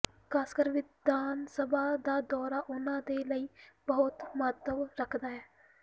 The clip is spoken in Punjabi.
ਖਾਸਕਰ ਵਿਧਾਨ ਸਭਾ ਦਾ ਦੌਰਾ ਉਹਨਾਂ ਦੇ ਲਈ ਬਹੁਤ ਮਹੱਤਵ ਰੱਖਦਾ ਹੈ